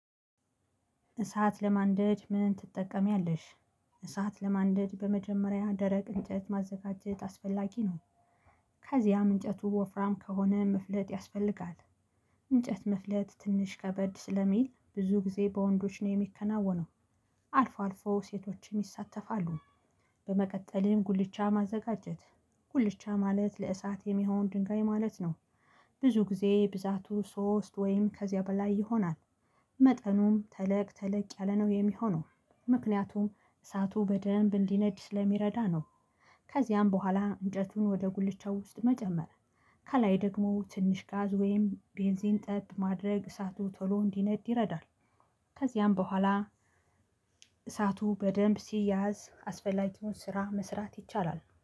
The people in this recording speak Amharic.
እሳት ለማንደድ ምን ትጠቀሚያለሽ? እሳት ለማንደድ በመጀመሪያ ደረቅ እንጨት ማዘጋጀት አስፈላጊ ነው። ከዚያም እንጨቱ ወፍራም ከሆነ መፍለጥ ያስፈልጋል። እንጨት መፍለጥ ትንሽ ከበድ ስለሚል ብዙ ጊዜ በወንዶች ነው የሚከናወነው። አልፎ አልፎ ሴቶችም ይሳተፋሉ። በመቀጠልም ጉልቻ ማዘጋጀት ጉልቻ ማለት ለእሳት የሚሆን ድንጋይ ማለት ነው። ብዙ ጊዜ ብዛቱ ሶስት ወይም ከዚያ በላይ ይሆናል። መጠኑም ተለቅ ተለቅ ያለ ነው የሚሆነው ምክንያቱም እሳቱ በደንብ እንዲነድ ስለሚረዳ ነው። ከዚያም በኋላ እንጨቱን ወደ ጉልቻው ውስጥ መጨመር። ከላይ ደግሞ ትንሽ ጋዝ ወይም ቤንዚን ጠብ ማድረግ እሳቱ ቶሎ እንዲነድ ይረዳል። ከዚያም በኋላ እሳቱ በደንብ ሲያያዝ አስፈላጊዎች ስራ መስራት ይቻላል